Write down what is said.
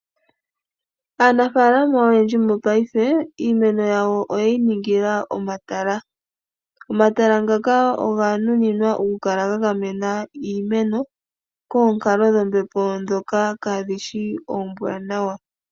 Aanafalama oyendji mopaife iimeno yawo oye yi ningila omatala. Omatala ngaka oga nuninwa okukala ga gamena iimeno koonkalo dhombepo ndhoka kaadhi shi oombwaanawa.